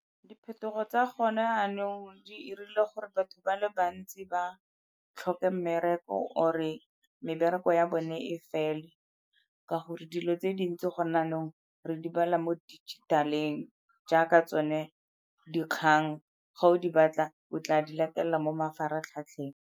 Diphetogo tsa gone yanong di 'irile gore batho ba le bantsi ba tlhoke mmereko or-e mebereko ya bone e fele ka gore dilo tse dintsi go ne yaanong re di bala mo dijithaleng jaaka tsone dikgang ga o di batla o tla di latelela mo mafaratlhatlheng.